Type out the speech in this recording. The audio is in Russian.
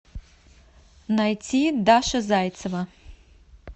найти даша зайцева